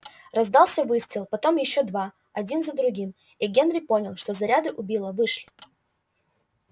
раздался выстрел потом ещё два один за другим и генри понял что заряды у билла вышли